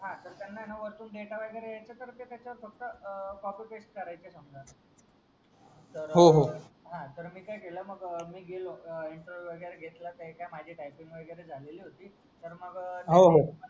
हा तर त्यांना होयना वरतून डेटा वगैरे यांच्यात कस कॉपी पेस्ट करायचे समजा होहो हा तर मी काय केला मग मी गेलो एंटरव्हिव वगैरे घेतला माझी टायपिंग वगैरे झालेली होती तर मग होहो